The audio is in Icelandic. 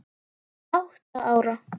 Átta ára